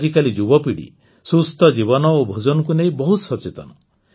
ଆଜିକାଲି ଯୁବପିଢ଼ି ସୁସ୍ଥ ଜୀବନ ଓ ଭୋଜନକୁ ନେଇ ବହୁତ ସଚେତନ